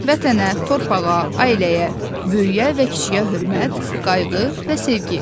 Vətənə, torpağa, ailəyə, böyüyə və kişiyə hörmət, qayğı və sevgi.